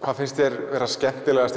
hvað finnst þér vera skemmtilegast í